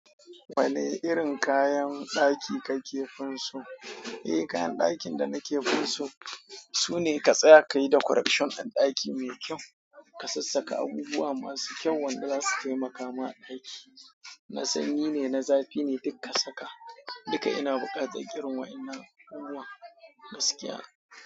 Wane irin kayan ɗaki kake finso? Eh, kayan ɗakin da nake finso sune ka tsaya kai da correction ɗin ɗaki mai kyau. Ka sassaka abubuwa masu kyau wanda za su taimaka ma ɗaki. Na sanyi ne, na zafi ne, duk ka saka. Duka ina buƙatar irin waɗannan abubuwan gaskiya.